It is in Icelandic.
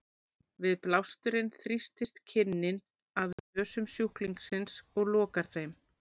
Við blásturinn þrýstist kinnin að nösum sjúklingsins og lokar þeim.